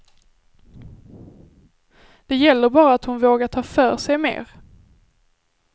Det gäller bara att hon vågar ta för sig mer.